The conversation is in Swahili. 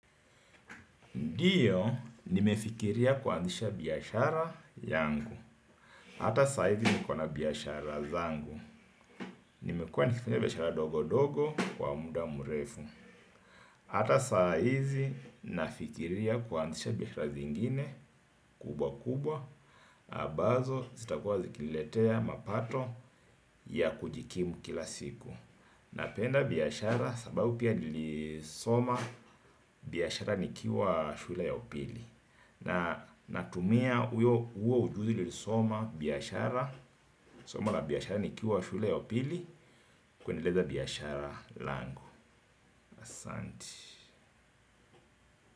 Ndio, nimefikiria kuanzisha biashara yangu. Hata saa hizi nikona biashara zangu. Nimekuwa nikifanya biashara ndogo ndogo kwa muda mrefu. Hata saa hizi ninafikiria kuanzisha biashara zingine kubwa kubwa. Ambazo, zitakuwa zikiniletea mapato ya kujikimu kila siku. Napenda biashara sababu pia nilisoma biashara nikiwa shule ya upili. Na natumia huo ujuzi nilisoma biashara, somo la biashara nikiwa shule ya upili. Kuendeleza biashara langu. Asanti.